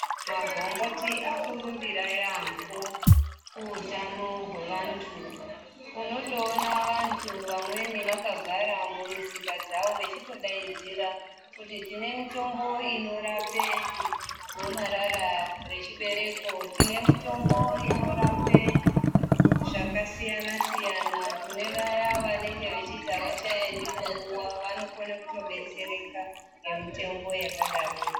Magomboti akurumbira yaambo kuhutano hwevantu. Unotoona vantu vamweni vakagara mumusika dzavo vechitodaidzira kuti tine mitombo inorape gomarara rechibereko, tine mutombo inorape zvakasiyana-siyana. Kune vaya vanenge vechiti havachaendi kunguva, vanokone kutodetsereka nemitombo yakadaroyo.